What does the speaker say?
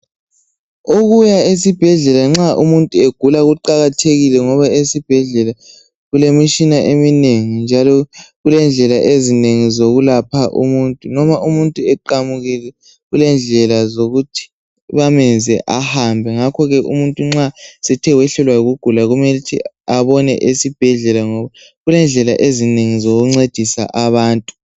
Ukuya esibhedlela nxa umuntu egula kuqakathekile ngoba esibhedlela kulemitshina eminengi njalo kulendlela ezinengi zokulapha umuntu, noma umuntu eqamukile kulendlela zokuthi bamenze ahambe, ngakho ke umuntu nxa esethe wehlelwa yikugula kumele ukuthi abone esibhedlela ngoba kulendlela ezinengi zokuncedisa abantu.